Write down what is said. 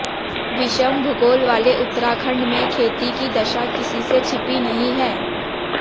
विषम भूगोल वाले उत्तराखंड में खेती की दशा किसी से छिपी नहीं हैं